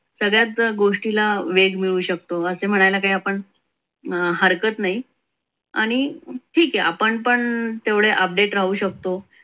सगळ्याच गोष्टीला वेग मिळू शकतो. असे म्हणायला आपण हरकत नाही आणि ठीक आहे आपण पण तेवढे update राहू शकतो.